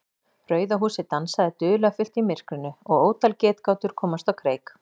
Rauða húsið dansaði dularfullt í myrkrinu og ótal getgátur komust á kreik.